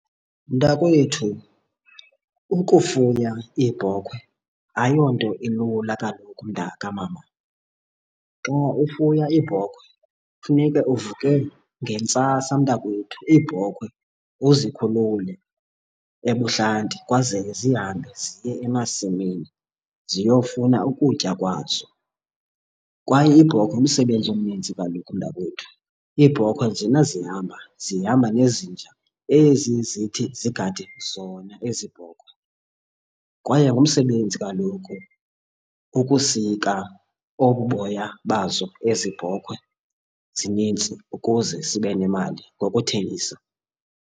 Mntakwethu, ukufuya iibhokhwe ayonto ilula kaloku, mntakamama. Xa ufuya iibhokhwe funeka uvuke ngentsasa mntakwethu iibhokhwe uzikhulule ebuhlanti kwazeke zihambe ziye emasimini ziyofuna ukutya kwazo. Kwaye iibhokhwe ngumsebenzi omninzi kaloku, mntakwethu. Iibhokhwe njena zihamba zihamba nezinja ezi zithi zigade zona ezi bhokhwe. Kwaye ngumsebenzi kaloku ukusika obu boya bazo ezi bhokhwe zinintsi ukuze sibe nemali ngokuthengisa.